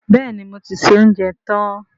Bẹ́ẹ̀ni, mo ti se oúnjẹ tán